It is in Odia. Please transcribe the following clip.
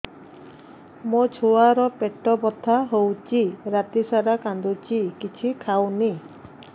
ମୋ ଛୁଆ ର ପେଟ ବଥା ହଉଚି ରାତିସାରା କାନ୍ଦୁଚି କିଛି ଖାଉନି